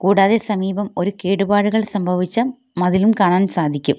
കൂടാതെ സമീപം ഒരു കേടുപാടുകൾ സംഭവിച്ച മതിലും കാണാൻ സാധിക്കും.